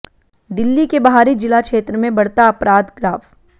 दिल्ली के बाहरी जिला क्षेत्र में बढ़ता अपराध ग्राफ़